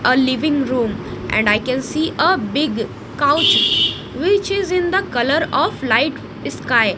a living room and i can see a big couch which is in the colour of light sky.